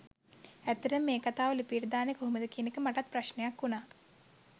ඇත්තටම මේ කතාව ලිපියට දාන්නෙ කොහොමද කියන එකත් මට ප්‍රශ්ණයක් වුනා.